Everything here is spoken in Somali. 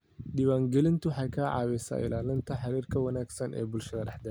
Diiwaangelintu waxay ka caawisaa ilaalinta xidhiidhka wanaagsan ee bulshada dhexdeeda.